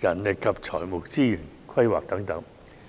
人力及財務資源規劃等。